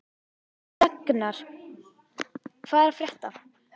Raknar, hvað er að frétta?